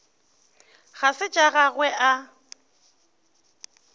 ga se tša gagwe a